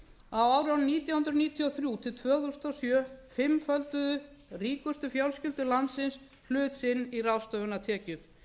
á árunum nítján hundruð níutíu og þrjú til tvö þúsund og sjö fimmfölduðu ríkustu fjölskyldur landsins hlut sinn í ráðstöfunartekjum